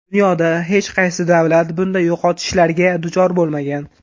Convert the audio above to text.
Dunyoda hech qaysi davlat bunday yo‘qotishlarga duchor bo‘lmagan.